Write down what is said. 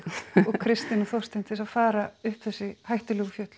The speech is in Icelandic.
Kristin og Þorstein til þess að fara upp þessi hættulegu fjöll